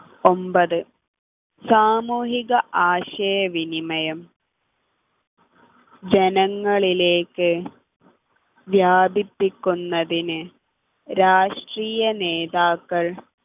ഒമ്പത് സാമൂഹിക ആശയവിനിമയം ജനങ്ങളിലേക്ക് വ്യാപിപ്പിക്കുന്നതിന് രാഷ്ട്രീയനേതാക്കൾ